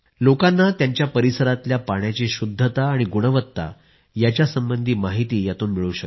लोकांना त्यांच्या परिसरातल्या पाण्याची शुद्धता आणि गुणवत्ता यांच्यासंबंधी माहिती यातून मिळू शकते